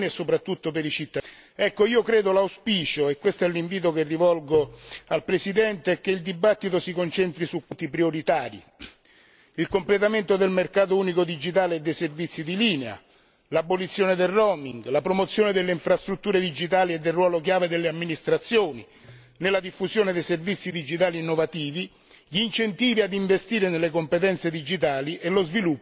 Mi auguro quindi ed è un invito che rivolgo al Presidente che il dibattito si concentri su quattro punti prioritari il completamento del mercato unico digitale e dei servizi di linea, l'abolizione del roaming, la promozione delle infrastrutture digitali e del ruolo chiave delle amministrazioni nella diffusione dei servizi digitali innovativi, gli incentivi ad investire nelle competenze digitali e lo sviluppo dei progetti a lungo termine.